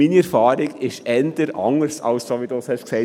Denn meine Erfahrung ist eher anders als du gesagt hast.